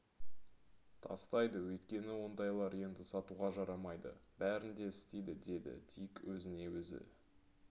тастайды өйткені ондайлар енді сатуға жарамайды бәрін де істейді деді дик өзіне өзі